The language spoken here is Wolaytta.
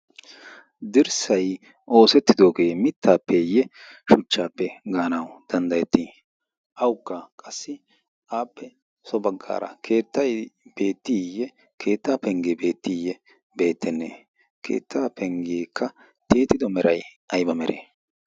dirssay oosettidoogee mittaappeeyye shuchchaappe gaanawu danddayettii awukka qassi aappe so baggaara keettay beettiiyye keettaa penggee beettiiyye beettenne keettaa penggeekka teetido mera ayba mere